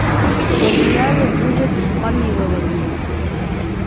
для меня не будет помилования